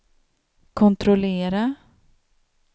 kontrollera